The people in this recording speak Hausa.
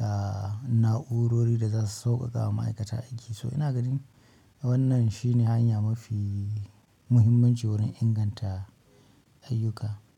aa, na'urori da za su sauƙaƙa wa ma'aikata aiki. Toh ina gani, wannan shine hanyan mafi muhimmanci wurin inganta ayyuka.